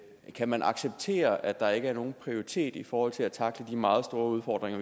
kan man acceptere at der ikke er nogen prioritet i forhold til at tackle de meget store udfordringer